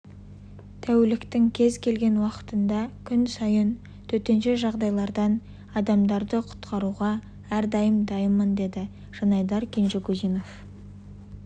тәуліктің кез келген уақытында күн сайын төтенше жағдайлардан адамдарды құтқаруға әрдайым дайынмын деді жанайдар кенжегузинов